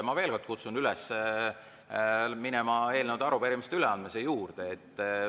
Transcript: Ma veel kord kutsun üles minema eelnõude ja arupärimiste üleandmise juurde.